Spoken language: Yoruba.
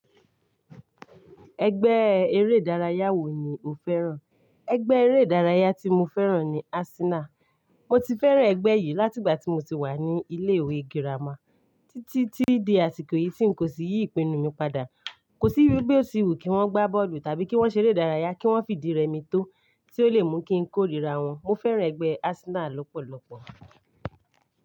Ẹgbẹ́ eré ìdárayá wo ni o fẹ́ràn? Ẹgbẹ́ eré ìdárayá tí mo fẹ́ràn ni Arsenal. Mo ti fẹ́ràn ẹgbẹ́ yìí láti ìgbà tí mo ti wà ní ilé ìwé girama títí tí di àsìkò yìí tí n kò sì yí ìpinnu mi padà. Kò sí irú bí ó ti wù kí wọ́n gbá bọ́ọ̀lù tàbí kí wọ́n ṣeré ìdárayá, kí wọ́n sì fi di irẹmi tó tí ó lè mú kí n kórìíra wọn. Mo fẹ́ràn ẹgbẹ́ Arsenal lọ́pọ̀lọ́pọ̀.